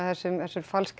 falskar